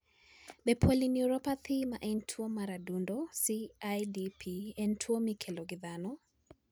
Be polyneuropathy ma en tuwo mar adundo (CIDP) en tuwo mikelo gi dhano?